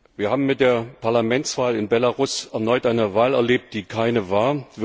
Wir haben mit der Parlamentswahl in Belarus erneut eine Wahl erlebt, die keine war.